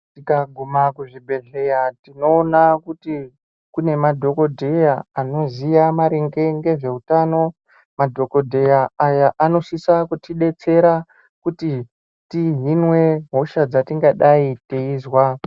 Tikagume kuzvibhedhlera tinoona kuti kune madhokodheya anoziya maringe ngezveutano. Madhokodheya aya anosise kutidetsera kuti tihinwe hosha dzetingadayi teizwa.